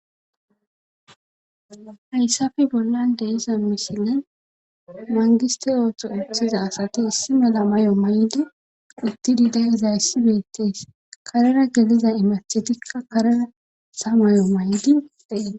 Hayssappe bollan de'iza misilen mangiste ooso othiza asati issi mala mayo mayidi uttidi day issi bettees .Karera geliza imathetikka karetha mayo mayidi dees.